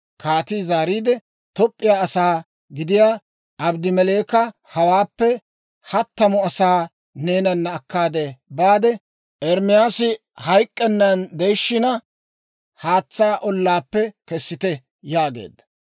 Kaatii zaariide, Toop'p'iyaa asaa gidiyaa Abedmeleeka, «Hawaappe hattamu asaa neenana akkaade baade, Ermaasi hayk'k'ennan de'ishiina, haatsaa ollaappe kessite» yaageedda.